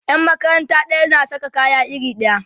Yan makaranta ɗaya na Saka kaya iri ɗaya